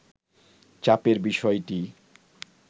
চাপের বিষয়টিই